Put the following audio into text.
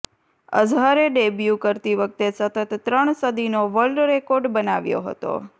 અઝહરે debut કરતી વખતે સતત ત્રણ સદીનો વર્લ્ડ રેકોર્ડ બનાવ્યો હતો